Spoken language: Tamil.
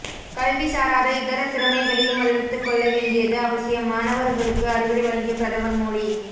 கல்வி சாராத இதர திறமைகளையும் வளர்த்துக்கொள்ள வேண்டியது அவசியம் மாணவர்களுக்கு அறிவுரை வழங்கிய பிரதமர் மோடி